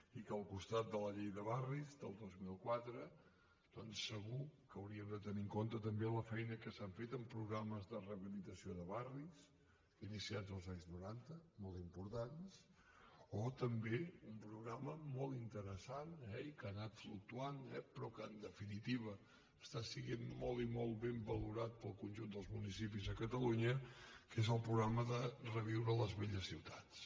i que al costat de la llei de barris del dos mil quatre doncs segur que hauríem de tenir en compte també la feina que s’ha fet amb programes de rehabilitació de barris iniciats als anys noranta molt importants o també un programa molt interessant eh i que ha anat fluctuant però que en definitiva està sent molt i molt ben valorat pel conjunt dels municipis a catalunya que és el programa reviure les velles ciutats